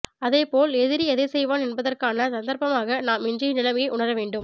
அதே போல் எதிரி எதை செய்வான் என்பதற்கான சந்தற்பமாக நாம் இன்றைய நிலையை உணரவேண்டும்